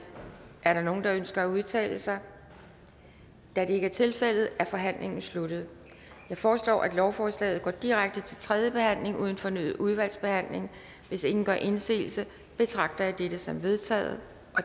er der nogen der ønsker at udtale sig da det ikke er tilfældet er forhandlingen sluttet jeg foreslår at lovforslaget går direkte til tredje behandling uden fornyet udvalgsbehandling hvis ingen gør indsigelse betragter jeg dette som vedtaget